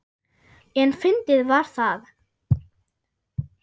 En fyndið var það.